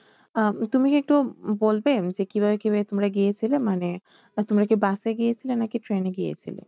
আহ তুমি কি একটু বলবে যে কিভাবে কিভাবে তোমরা গিয়েছিলে মানে তোমরা কি বাসে গিয়েছিলে না ট্রেনে গিয়েছিলে?